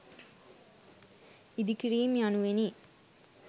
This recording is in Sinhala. ඉදිකිරීම් යනුවෙනි.